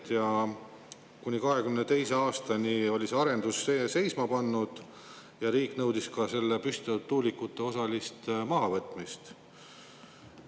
Kuni 2022. aastani oli see arendus seisma pandud ja riik nõudis ka püstitatud tuulikute osalist mahavõtmist.